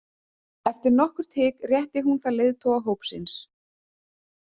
Eftir nokkurt hik rétti hún það leiðtoga hópsins.